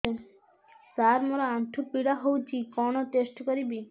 ସାର ମୋର ଆଣ୍ଠୁ ପୀଡା ହଉଚି କଣ ଟେଷ୍ଟ କରିବି